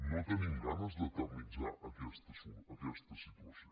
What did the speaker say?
no tenim ganes d’eternitzar aquesta situació